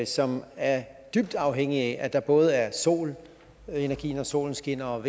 som er dybt afhængigt af at der både er solenergi når solen skinner og